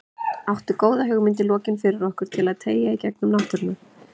Áttu góða hugmynd í lokin fyrir okkur til að tengja í gegnum náttúruna?